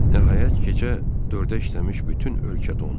Nəhayət, gecə 4-ə işləmiş bütün ölkə dondu.